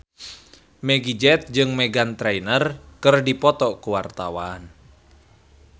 Meggie Z jeung Meghan Trainor keur dipoto ku wartawan